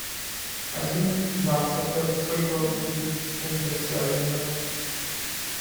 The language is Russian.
один баксов это сколько будет фунтов стерлинга